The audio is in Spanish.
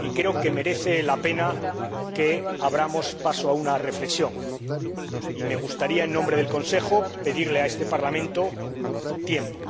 y creo que merece la pena que abramos paso a una reflexión, y me gustaría en nombre del Consejo pedirle a este Parlamento tiempo.